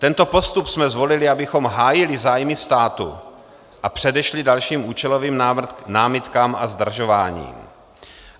Tento postup jsme zvolili, abychom hájili zájmy státu a předešli dalším účelovým námitkám a zdržováním.